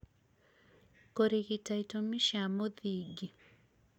kũrigita itũmi cia mũthingi